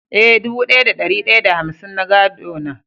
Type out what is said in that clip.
Eh, dubu daya da dari daya da hamsin na gado na.